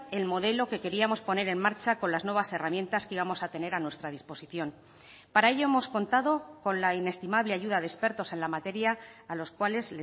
el modelo que queríamos poner en marcha con las nuevas herramientas que íbamos a tener a nuestra disposición para ello hemos contado con la inestimable ayuda de expertos en la materia a los cuales